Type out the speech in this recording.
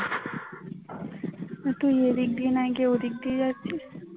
এই তুই এই দিক না দিয়ে ওই দিক দিয়ে জাগছিস